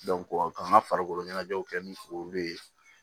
k'an ka farikolo ɲɛnajɛw kɛ ni olu ye